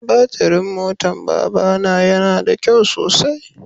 Batirin motan baba na ya na da kyau sosai.